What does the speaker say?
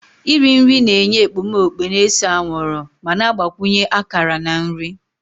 Iri nri na-enye ekpomeekpo na-ese anwụrụ ma na-agbakwunye akara na nri